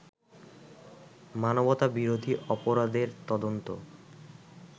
মানবতাবিরোধী অপরাধের তদন্ত